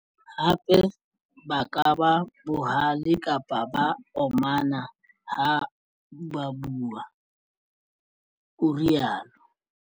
Hape ba ka ba bohale kapa ba omana ha bua, o rialo.